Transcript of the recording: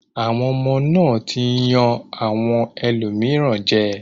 Àwọn ọmọ náà ti ń yan àwọn ẹlòmíràn jẹ.